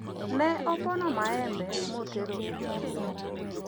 ne opono maembe motero e chiro